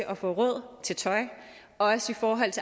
at få råd til tøj og også for